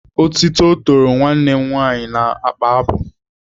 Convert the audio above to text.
Otito toro nwanne m nwaanyị na mkpabụ.